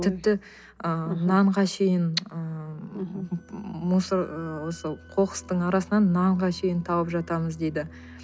тіпті ы нанға шейін ыыы мусор осы қоқыстың арасынан нанға дейін тауып жатамыз дейді